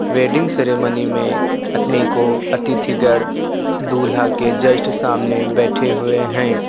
Wedding ceremony में अपने को अतिथिगण दूल्हा के जस्ट सामने बैठे हुए हैं।